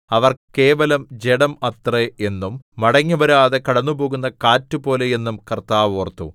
അവർ കേവലം ജഡം അത്രേ എന്നും മടങ്ങിവരാതെ കടന്നുപോകുന്ന കാറ്റുപോലെ എന്നും കർത്താവ് ഓർത്തു